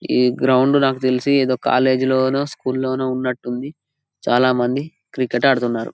ఈ గ్రౌండ్ నాకు తెలుసి ఏ కాలేజ్ లోనో స్కూల్ లోనో ఉన్నటు ఉంది చాలా మంది క్రికెట్ ఆడుతున్నారు.